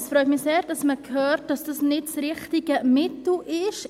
Es freut mich sehr, dass man hört, dass dies nicht das richtige Mittel ist.